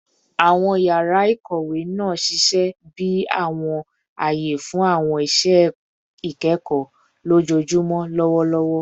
Awọn yara ikowe naa ṣiṣẹ bi awọn aye fun awọn iṣẹ ikẹkọ lojoojumọ lọwọlọwọ